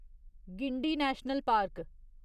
Guindy national park